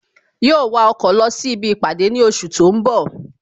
Yóó wa ọkọ̀ lọ sí ibi ìpàdé ní oṣù tó ń bọ̀